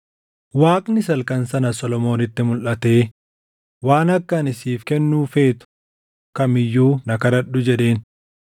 Waaqnis halkan sana Solomoonitti mulʼatee, “Waan akka ani siif kennu feetu kam iyyuu na kadhadhu” jedheen.